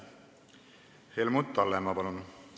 Helmut Hallemaa, palun!